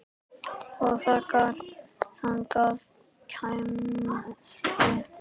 Og þegar þangað kæmi.